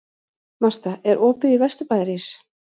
Marta, er opið í Vesturbæjarís?